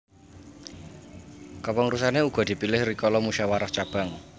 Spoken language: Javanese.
Kepengurusane uga dipilih rikala musyawarah cabang